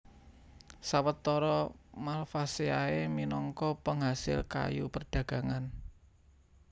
Sawetara Malvaceae minangka pengasil kayu perdagangan